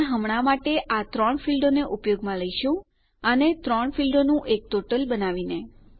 પણ હમણાં માટે આ 3 ફીલ્ડોને ઉપયોગમાં લઇશું આને 3 ફીલ્ડોનું એક ટોટલ બનાવીને